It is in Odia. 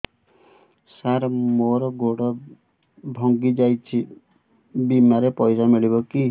ସାର ମର ଗୋଡ ଭଙ୍ଗି ଯାଇ ଛି ବିମାରେ ପଇସା ମିଳିବ କି